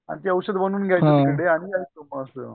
आणि ती ओषध बनून घ्यायची तिकडे आणि यायचो मग